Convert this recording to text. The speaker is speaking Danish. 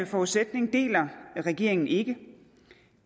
forudsætning deler regeringen ikke